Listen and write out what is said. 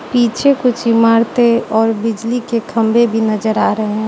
पीछे कुछ इमारतें और बिजली के खंभे भी नजर आ रहें --